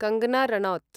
Kangan Ranaut